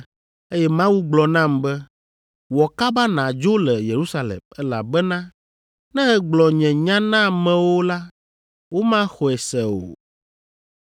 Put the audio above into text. eye Mawu gblɔ nam be, ‘Wɔ kaba nàdzo le Yerusalem, elabena ne ègblɔ nye nya na amewo la, womaxɔe se o.’